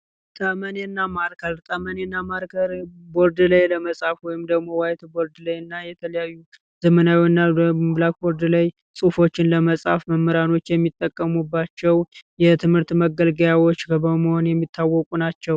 ጠመኔ እና ማርከር ጠመኔ እና ማርከር ቦርድ ላይ ለመሳተፍ ወይም ደግሞ ዋይትቦርድ ላይ እና የተለያዩ ዘመናዊ እና ብላክ ጎልድ ላይ ጽሑፎችን ለመጻፍ መምህራኖች የሚጠቀሙባቸው የትምህርት መገልገያዎችን በመሆን የሚታወቁ ናቸው።